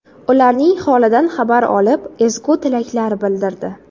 Ularning holidan xabar olib, ezgu tilaklar bildirdi.